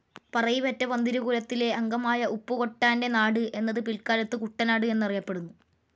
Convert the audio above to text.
പറയിപെറ്റ പന്തിരു കുലത്തിലെ അംഗമായ ഉപ്പുകൂട്ടാൻ്റെ നാട് എന്നത് പിൽക്കാലത്തു കുട്ടനാട് എന്ന് അറിയപ്പെടുന്നു.